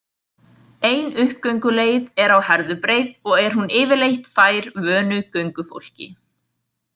Ein uppgönguleið er á Herðubreið og er hún yfirleitt fær vönu göngufólki.